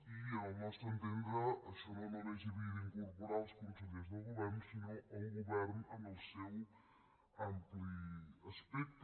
i al nostre entendre això no només hi havia d’incorporar els consellers del govern sinó el govern en el seu ampli espectre